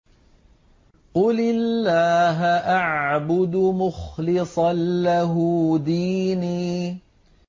قُلِ اللَّهَ أَعْبُدُ مُخْلِصًا لَّهُ دِينِي